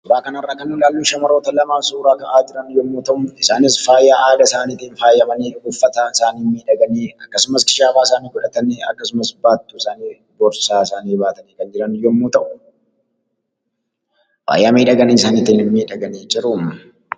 Suuraa kana irraa kan mul'atu suuraa shamarran lamaa waliin ta'aanii uuffata aadaan faayyamanii wantoota addaa addaa qabachuun suuraa ka'aa kan jiranii dha.